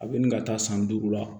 A bɛ nin ka taa san duuru la